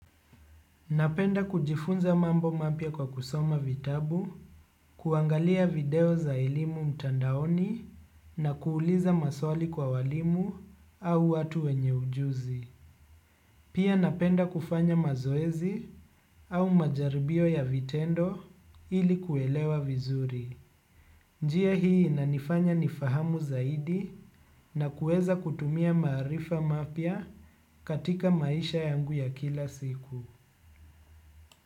Napenda kujifunza mambo mapya kwa kusoma vitabu, kuangalia video za elimu mtandaoni na kuuliza maswali kwa walimu au watu wenye ujuzi. Pia napenda kufanya mazoezi au majaribio ya vitendo ili kuelewa vizuri. Njia hii inanifanya nifahamu zaidi na kuweza kutumia maarifa mapya katika maisha yangu ya kila siku.